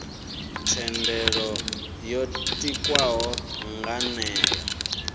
thendelo yo tikwaho nga nivho